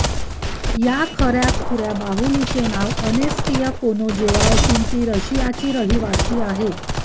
या खऱ्याखुऱ्या बाहुलीचे नाव अनेस्तिया कोनेजेवा असून ती रशियाची रहिवाशी आहे